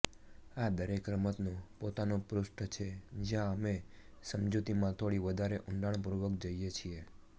આ દરેક રમતનું પોતાનું પૃષ્ઠ છે જ્યાં અમે સમજૂતીમાં થોડી વધારે ઊંડાણપૂર્વક જઈએ છીએ